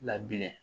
Labilen